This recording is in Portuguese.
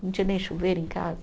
Não tinha nem chuveiro em casa.